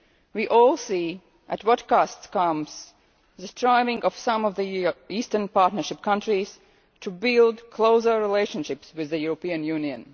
We all see at what cost comes the striving of some of the Eastern Partnership countries to build closer relationships with the European Union.